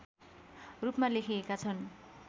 रूपमा लेखिएका छन्